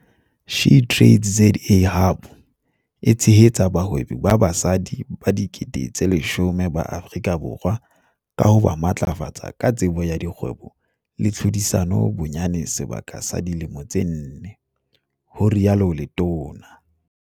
SheTradesZA Hub e tshehetsa bahwebi ba basadi ba 10 000 ba Afrika Borwa ka ho ba matlafatsa ka tsebo ya kgwebo le tlhodisano bonyane sebaka sa dilemo tse nne," ho rialo letona.